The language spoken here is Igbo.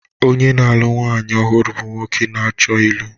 Onye na-alụ nwaanyị ọhụrụ bụ nwoke na-achọ ịlụ.